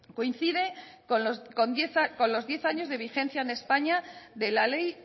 coincide con los diez años de vigencia en españa de la ley